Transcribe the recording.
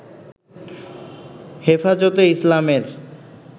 হেফাজতে ইসলামের